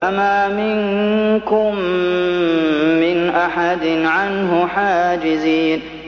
فَمَا مِنكُم مِّنْ أَحَدٍ عَنْهُ حَاجِزِينَ